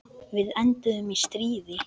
Við enduðum í stríði.